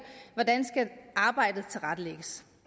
hvordan arbejdet skal tilrettelægges